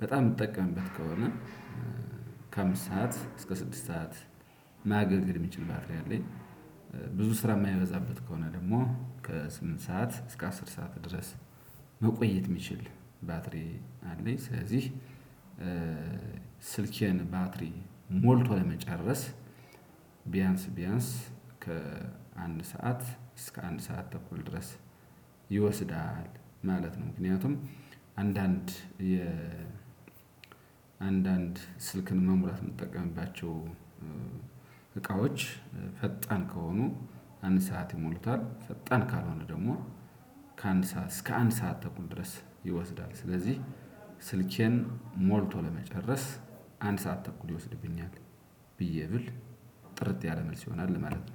በጣም የምጠቀምበት ከሆነ ከአምስት ሰዓት እስከ ስድስት ሰዓት ማገልገል የሚችል ባትሪ አለኝ። ብዙ ስራ የማይበዛበት ከሆነ ደግሞ ከስምንት ሰዓት እስከ አስር ሰዓት ድረስ መቆየት የሚችል ባትሪ አለኝ ስለዚህ ስልኬን ባትሪ ሞልቶ ለመጨረስ ቢያንስ ቢያንስ ከአንድ ሰዓት እስከ አንድ ሰዓት ተኩል ድረስ ይወስዳል ማለት ነው። ምክንያቱም አንዳንድ የ አንዳንድ ስልክን ለመሙላት የምጠቀምባቸው እቃዎች ፈጣን ከሆኑ አንድ ሰዓት ይሞሉታል፤ ፈጣን ካልሆነ ደግሞ ከአንድ ሰዓት እስከ አንድ ሰዓት ተኩል ድረስ ይወስዳል። ስለዚህ ስልኬን ሞልቶ ለመጨረስ አንድ ሰዓት ተኩል ይወስድብኛል ብዬ ብል ጥርት ያለ መልስ ይሆናል ማለት ነው።